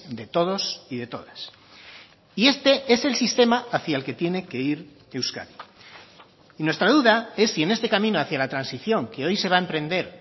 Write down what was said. de todos y de todas y este es el sistema hacia el que tiene que ir euskadi y nuestra duda es si en este camino hacia la transición que hoy se va a emprender